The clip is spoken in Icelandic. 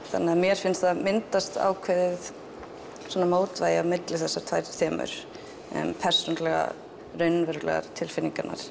þannig að mér finnst myndast ákveðið mótvægi milli þessara tveggja þema persónulegar raunverulegar tilfinningar